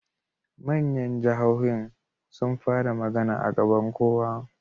Manyan jahohin sun fara magana a gaban kowa